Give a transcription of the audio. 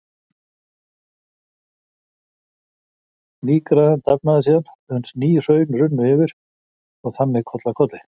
Nýgræðan dafnaði síðan uns ný hraun runnu yfir, og þannig koll af kolli.